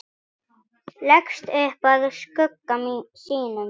Leggst upp að skugga sínum.